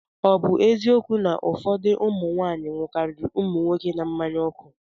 Ọ bụ eziokwu na ụfọdụ ụmụ nwaanyị ṅụkarịrị ụmụ nwoke na mmanya ọkụ?